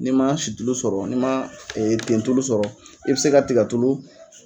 Ni ma situlu sɔrɔ , ni ma tentulu sɔrɔ, i bi se ka tikatulu